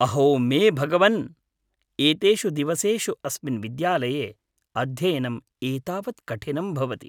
अहो मे भगवन्! एतेषु दिवसेषु अस्मिन् विद्यालये अध्ययनम् एतावत् कठिनं भवति।